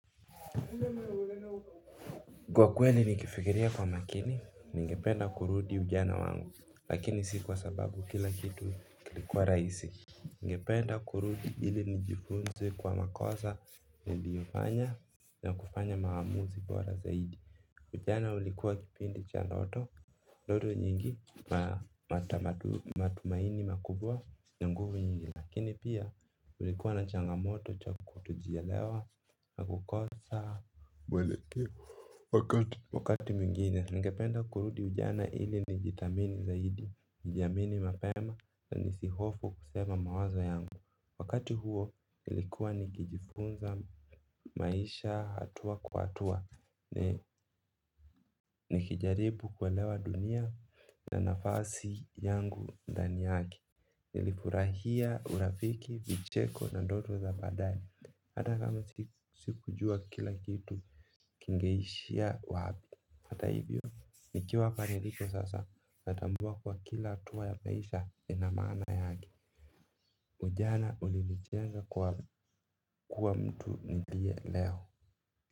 Kwa kweli nikifikiria kwa makini ningependa kurudi ujana wangu lakini si kwa sababu kila kitu kilikuwa raisi ningependa kurudi ili nijifunze kwa makosa niliofanya na kufanya maamuzi bora zaidi. Ujana ulikuwa kipindi cha ndoto ndoto nyingi na matumaini makubwa na nguvu nyingi lakini pia ulikuwa na changamoto cha kutojielewa na kukosa mwelekeo wakati mwingine ningependa kurudi ujana hili nijithamini zaidi nijiamini mapema za nisihofu kusema mawazo yangu. Wakati huo ilikuwa nikijifunza maisha hatua kwa hatua nikijaribu kuelewa dunia na nafasi yangu ndani yake. Nilifurahia, urafiki, vicheko na ndoto za badae hata kama sikujua kila kitu kingeishia wabi. Hata hivyo nikiwa hapa niliko sasa natambua kuwa kila hatuwa ya maisha ina maana yake. Ujana ulinichenga kuwa mtu nilie leo.